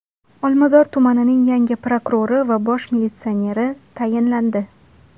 Olmazor tumanining yangi prokurori va bosh militsioneri tayinlandi.